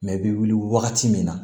Mɛ i bɛ wuli wagati min na